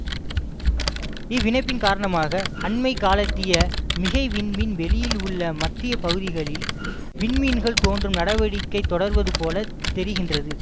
இவ்விணைப்பின் காரணமாக அண்மை காலத்திய மிகை விண்மீன் வெளியில் உள்ள மத்திய பகுதிகளில் விண் மீன்கள் தோன்றும் நடவடிக்கை தொடர்வது போல தெரிகின்றது